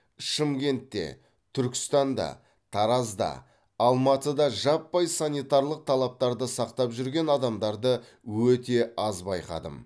шымкентте түркістанда таразда алматыда жаппай санитарлық талаптарды сақтап жүрген адамдарды өте аз байқадым